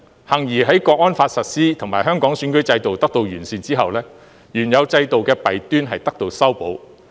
幸而在《香港國安法》實施及香港選舉制度得到完善後，原有制度的弊端得到修補。